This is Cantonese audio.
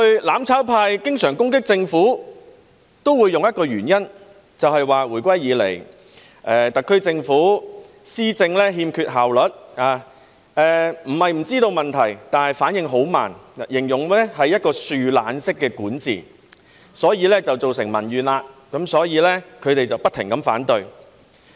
"攬炒派"過去經常攻擊政府時，也會用一個理由，便是說回歸以來，特區政府施政欠缺效率，並非不知道問題，但反應很慢，他們形容這是樹懶式管治，所以造成民怨，因此他們不停反對。